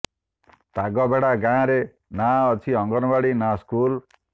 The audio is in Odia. ତାଗବେଡା ଗାଁ ରେ ନା ଅଛି ଅଙ୍ଗନୱାଡି ନା ସ୍କୁଲ